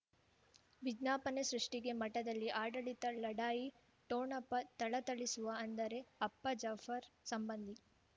ವಿಜ್ಞಾಪನೆ ಸೃಷ್ಟಿಗೆ ಮಠದಲ್ಲಿ ಆಡಳಿತ ಲಢಾಯಿ ಠೊಣಪ ಥಳಥಳಿಸುವ ಅಂದರೆ ಅಪ್ಪ ಜಾಫರ್ ಸಂಬಂಧಿ